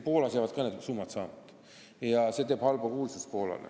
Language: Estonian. Poolal jäävad ka need summad saamata ja see tekitab Poolale halba kuulsust.